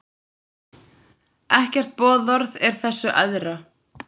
Ekkert boðorð er þessu æðra.